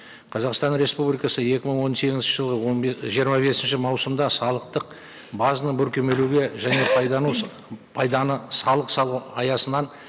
қазақстан республикасы екі мың он сегізінші жылы он жиырма бесінші маусымда салықтық базаны бүркемелеуге және пайданы салық салу аясынан